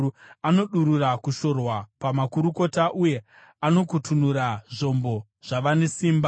Anodurura kushorwa pamakurukota uye anokutunura zvombo zvavane simba.